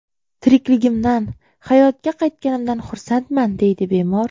Tirikligimdan, hayotga qaytganimdan xursandman”, deydi bemor.